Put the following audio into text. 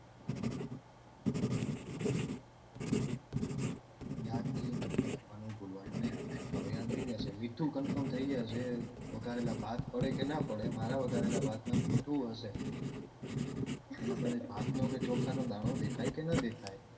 યાદ થી મીઠું નાખવાનું ભુંયલવાનું નઈ હવે યાદ રઈ જશે મીઠું confirm થઇ જશે વગારેલાં ભાત પડે કે ના પડે મારા વાગારેલાં ભાત માં મીઠું હશે ભાત કે ચોખા નો દાણો દેખાય કે ના દેખાય.